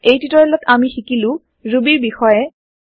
এই টিওটৰিয়েলত আমি শিকিলো ৰুবীৰ বিষয়ে